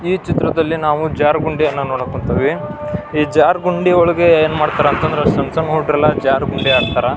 ಈ ಚಿತ್ರದ್ಲಲಿ ನಾವು ಜಾರು ಗುಂಡಿ ಯನ್ನು ನೋಡಕ್ ಕುಂತೇವಿ ಈ ಜಾರು ಗುಂಡಿ ಒಳಗೆ ಏನು ಮಾಡ್ತಾರೆ ಅಂದ್ರೆ ಈ ಜಾರ್ ಗುಂಡಿ ಸಣ್ಣ ಹುಡುಗೂರ್ ಎಲ್ಲ ಜಾರ ಗುಂಡಿ ಆಡ್ತಾರ.